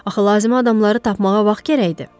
Axı lazımi adamları tapmağa vaxt gərəkdi.